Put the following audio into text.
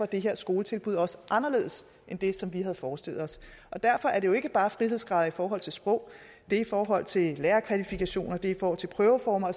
det her skoletilbud også anderledes end det som vi havde forestillet os derfor er det jo ikke bare frihedsgrader i forhold til sprog det er i forhold til lærerkvalifikationer og i forhold til prøveformer